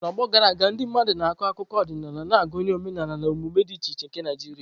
N'ọgbọ gara aga, ndị mmadụ na-akọ akụkọ ọdịnala na-agụnye omenala na omume dị iche iche nke Naijiria.